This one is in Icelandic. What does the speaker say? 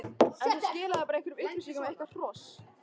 en það skilaði bara upplýsingum um eitthvert hross.